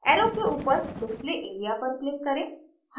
arrow के ऊपर display area पर click करें